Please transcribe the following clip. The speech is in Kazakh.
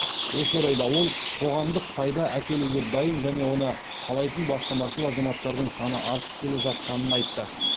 осы орайда ол қоғамдық пайда әкелуге дайын және оны қалайтын бастамашыл азаматтардың саны артып келе жатқанын айтты